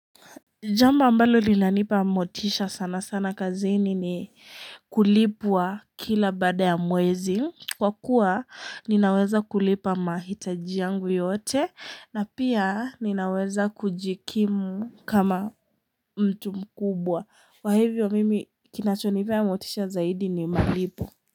Jambo ambalo linanipa motisha sana sana kazini ni kulipwa kila baada ya mwezi kwa kuwa ninaweza kulipa mahitaji yangu yote na pia ninaweza kujikimu kama mtu mkubwa kwa hivyo mimi kinacho nipea motisha zaidi ni malipo.